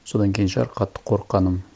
содан кейін шығар қатты қорыққаным